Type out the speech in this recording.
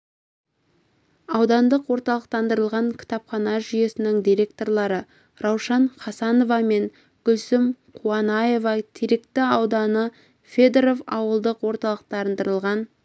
аудандық орталықтандырылған кітапхана жүйесінің директорлары раушан хасанова мен гүлсім қуанаева теректі ауданы федоров ауылдық орталықтандырылған